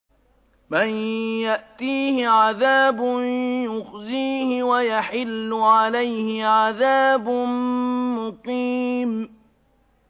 مَن يَأْتِيهِ عَذَابٌ يُخْزِيهِ وَيَحِلُّ عَلَيْهِ عَذَابٌ مُّقِيمٌ